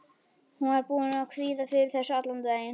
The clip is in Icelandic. Hún var búin að kvíða fyrir þessu allan daginn.